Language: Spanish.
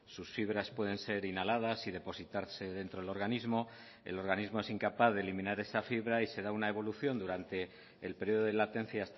sus fibras pueden ser inhaladas y depositarse dentro del organismo el organismo es incapaz de eliminar esa fibra y se da una evolución durante el periodo de latencia